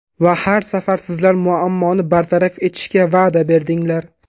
Va har safar sizlar muammoni bartaraf etishga va’da berdinglar.